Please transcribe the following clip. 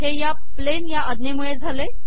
हे या प्लेन या अज्ञेमूळे झाले